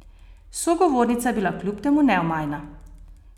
Sogovornica je bila kljub temu neomajna.